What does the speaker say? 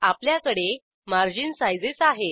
आपल्याकडे margin sizes आहेत